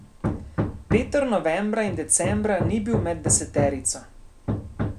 Peter novembra in decembra ni bil med deseterico.